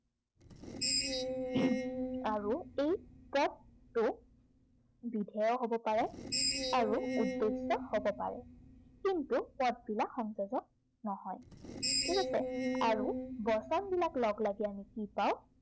আৰু এই পদটো বিধেয় হব পাৰে। আৰু উদ্দেশ্য় হব পাৰে। কিন্তু পদবিলাক সংযোজক নহয়। ঠিক আছে। আৰু বচনবিলাক লগলাগি আমি কি পাও